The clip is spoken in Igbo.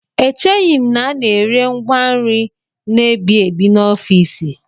Echeghị m na a na-ere ngwa nri na-emebi emebi n'ofiisi